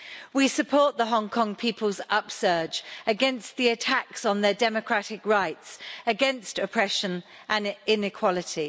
We support the Hong Kong people's upsurge against the attacks on their democratic rights, against oppression and inequality.